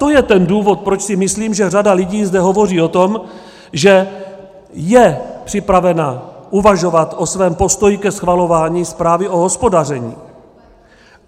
To je ten důvod, proč si myslím, že řada lidí zde hovoří o tom, že je připravena uvažovat o svém postoji ke schvalování zprávy o hospodaření.